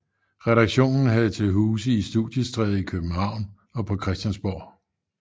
Redaktionen havde til huse i Studiestræde i København og på Christiansborg